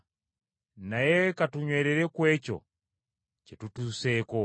Naye ka tunywerere ku ekyo kye tutuuseeko.